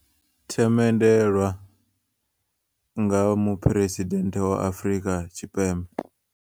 Themendelwa nga muphuresidende wa Afrika Tshipembe.